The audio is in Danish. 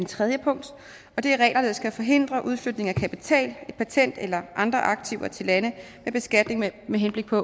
tredje punkt og det er regler der skal forhindre udflytning af kapital patent eller andre aktiver til lande med beskatning med henblik på